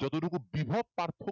যতটুকু বিভব পার্থক্য